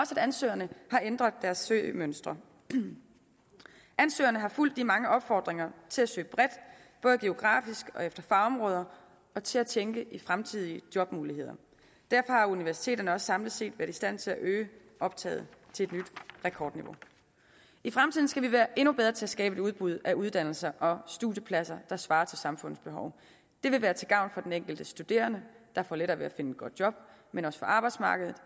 ansøgerne har ændret deres søgemønster ansøgerne har fulgt de mange opfordringer til at søge bredt både geografisk og efter fagområder og til at tænke i fremtidige jobmuligheder derfor har universiteterne også samlet set været i stand til at øge optaget til et nyt rekordniveau i fremtiden skal vi være endnu bedre til at skabe et udbud af uddannelser og studiepladser der svarer til samfundets behov det vil være til gavn for den enkelte studerende der får lettere ved at finde et godt job men også for arbejdsmarkedet